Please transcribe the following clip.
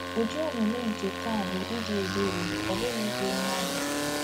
Ụdị omume nke taa bụ ịdị ebere, ọ bụghị ikpe mmadụ.